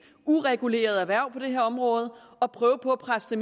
ureguleret erhverv på det her område og prøve at presse det